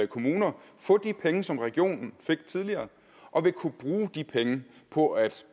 kommuner få de penge som regionen fik tidligere og vil kunne bruge de penge på at